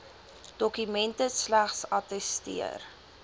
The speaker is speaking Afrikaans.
dokumente slegs attesteer